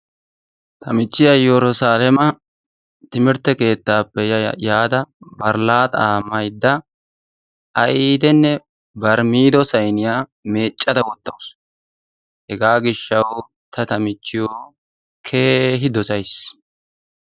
Ta miichchiyaa yerusaleema timirrtappe keettaa yaada bari laaxaa maydda aydenne bari miido sayniyaa meeccada wottawus. Hegaa giishshawu ta ta michchiyoo keehi dosays.